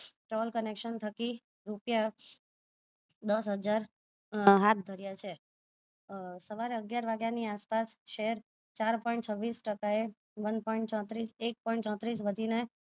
stone collection થકી રૂપિયા દસ હજાર હાથ ધર્યા છે સવારે અગિયાર વાગ્યાની આસપાસ શેર ચાર point છવીસ ટકાએ one point ચોત્રીસ એક point